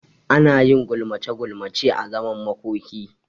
Anayin gulmace gulmace a zaman makoki